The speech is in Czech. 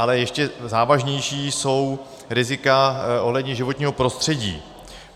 Ale ještě závažnější jsou rizika ohledně životního prostředí.